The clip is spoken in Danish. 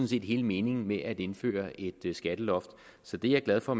set hele meningen med at indføre et skatteloft så det er jeg glad for